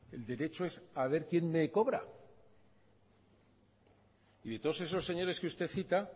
el derecho es a ver quién me cobra y de todos esos señores que usted cita